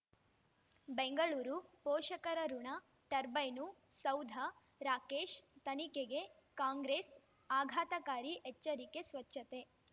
ಬೆಂಗಳೂರು ಪೋಷಕರಋಣ ಟರ್ಬೈನು ಸೌಧ ರಾಕೇಶ್ ತನಿಖೆಗೆ ಕಾಂಗ್ರೆಸ್ ಆಘಾತಕಾರಿ ಎಚ್ಚರಿಕೆ ಸ್ವಚ್ಛತೆ